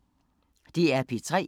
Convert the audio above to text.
DR P3